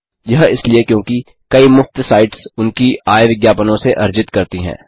यह इसलिए क्योंकि कई मुफ्त साइट्स उनकी आय विज्ञापनों से अर्जित करती हैं